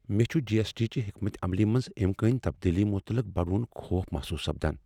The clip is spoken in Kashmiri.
مے٘ چھٗ جی ایس ٹی چہِ حیكمت عملی منز امكٲنی تبدیلی مٖتعلق بڈوٗن خوف محصوص سپدان ۔